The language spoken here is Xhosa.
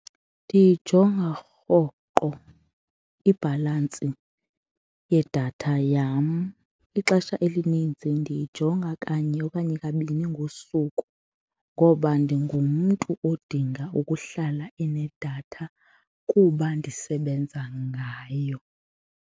Ndiyijonga rhoqo ibhalansi yedatha yam, ixesha elininzi ndiyijonga kanye okanye kabini ngosuku ngoba ndingumntu odinga ukuhlala unedatha kuba ndisebenza ngayo.